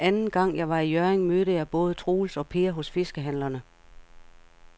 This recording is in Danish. Anden gang jeg var i Hjørring, mødte jeg både Troels og Per hos fiskehandlerne.